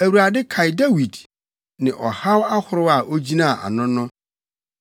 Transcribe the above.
Awurade kae Dawid ne ɔhaw ahorow a ogyinaa ano no.